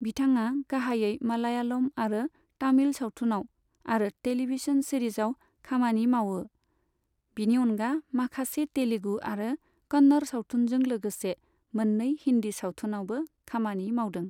बिथाङा गाहायै मालयालम आरो तामिल सावथुनआव आरो टेलिभिजन सिरिजआव खामानि मावो, बिनि अनगा माखासे तेलुगु आरो कन्नड़ सावथुनजों लोगोसे मोननै हिन्दी सावथुनआवबो खामानि मावदों।